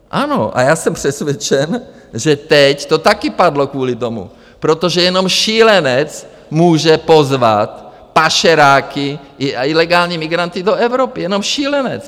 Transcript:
Ano a já jsem přesvědčen, že teď to taky padlo kvůli tomu, protože jenom šílenec může pozvat pašeráky a ilegální migranty do Evropy, jenom šílenec.